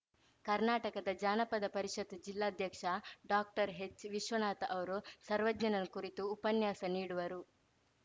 ಕರ್ನಾಟಕದ ಜಾನಪದ ಪರಿಷತ್‌ ಜಿಲ್ಲಾಧ್ಯಕ್ಷ ಡಾಕ್ಟರ್ಹೆಚ್‌ವಿಶ್ವನಾಥ ಅವರು ಸರ್ವಜ್ಞನ ಕುರಿತು ಉಪನ್ಯಾಸ ನೀಡುವರು